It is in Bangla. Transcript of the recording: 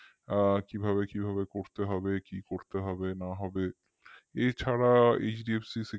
এ কিভাবে কিভাবে করতে হবে কি করতে হবে না হবে এছাড়া HDFC initial security